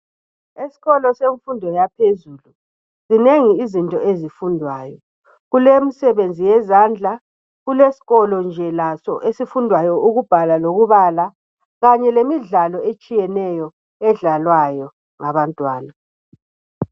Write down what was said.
Esikolo semfundo yaphezulu zinengi izinto ezifundwayo .Kulemsebenzi yezandla .Kulesikolo nje laso esifundwayo ukubhala lokubala .Kanye lemidlalo etshiyeneyo edlalwayo ngabantwana .